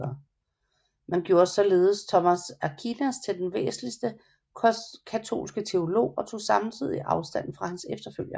Man gjorde således Thomas Aquinas til den væsentligste katolske teolog og tog samtidigt afstand fra hans efterfølgere